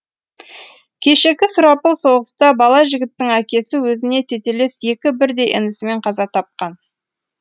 кешегі сұрапыл соғыста бала жігіттің әкесі өзіне тетелес екі бірдей інісімен қаза тапқан